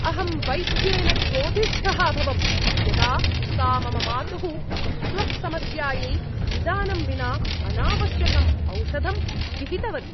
अहं वैद्येन क्रोधिष्ठः अभवम् यदा सा मम मातुः त्वक्समस्यायै निदानं विना अनावश्यकं औषधं विहितवती।